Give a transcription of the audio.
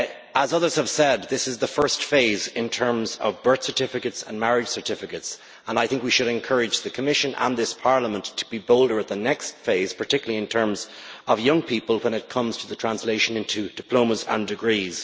As others have said, this is the first phase in terms of birth certificates and marriage certificates, and I think we should encourage the Commission and this Parliament to be bolder at the next phase, particularly in terms of young people, when it comes to its translation to diplomas and degrees.